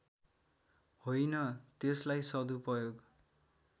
होइन त्यसलाई सदुपयोग